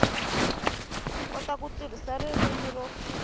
kota ku tirhisa ririmi ro